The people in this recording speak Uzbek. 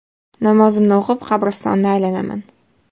Namozimni o‘qib, qabristonni aylanaman.